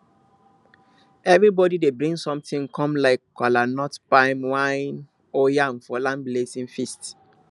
everybody dey bring something come like kolanut palm wine or yam for the land blessing feast